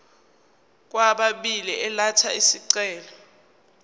kwababili elatha isicelo